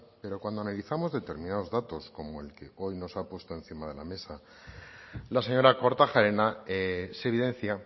pero cuando analizamos determinados datos como el que hoy nos ha puesto encima de la mesa la señora kortajarena se evidencia